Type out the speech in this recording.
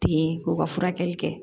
Ten ko ka furakɛli kɛ